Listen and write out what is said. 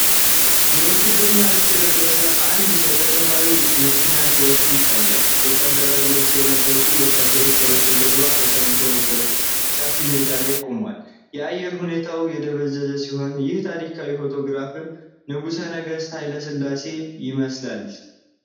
የውትድርና ልብስ የለበሰ አንድ ሰው ከጥንታዊ የመኪና መኪና ሲወርድ ይታያል። ወታደራዊ ልብስ የለበሱ ወታደሮች ከበስተጀርባ በተሰለፉበት ሰፊ ሜዳ ላይ ቆመዋል። የአየር ሁኔታው የደበዘዘ ሲሆን፣ ይህ ታሪካዊ ፎቶግራፍ ንጉሠ ነገሥት ኃይለ ሥላሴ ይመስላልን?